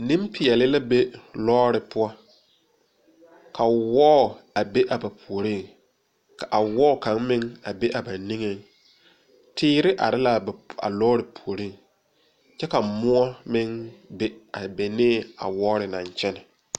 Nenpeɛle la be lɔre poɔ, ka wɔɔ a be a ba puori ka a wɔɔ kaŋ meŋ a be a ba niŋe ,teere are la a lɔre puori kyɛ ka moɔ meŋ be a benee a wɔɔre naŋ kyɛne.